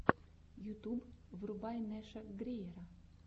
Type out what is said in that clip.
ютуб врубай нэша гриера